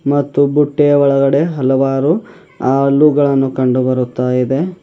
ಮತ್ತು ಬುಟ್ಟೆ ಒಳಗಡೆ ಹಲವಾರು ಆಲುಗಳನ್ನು ಕಂಡು ಬರುತ್ತಾ ಇದೆ.